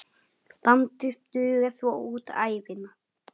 Bandið dugar svo út ævina.